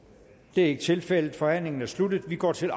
det er ikke tilfældet forhandlingen er sluttet og vi går til